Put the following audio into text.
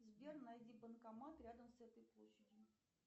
сбер найди банкомат рядом с этой площадью